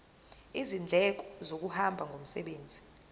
izindleko zokuhamba ngomsebenzi